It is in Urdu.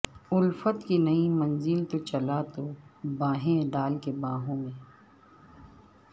الفت کی نئی منزل کو چلا تو باہیں ڈال کے باہوں میں